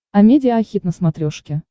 амедиа хит на смотрешке